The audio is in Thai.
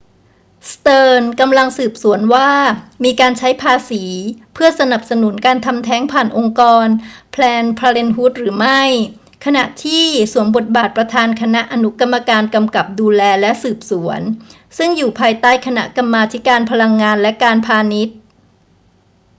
สเติร์นส์กำลังสืบสวนว่ามีการใช้ภาษีเพื่อสนับสนุนการทำแท้งผ่านองค์กร planned parenthood หรือไม่ ขณะที่สวมบทบาทประธานคณะอนุกรรมการกำกับดูแลและสืบสวน ซึ่งอยู่ภายใต้คณะกรรมาธิการพลังงานและการพาณิชย์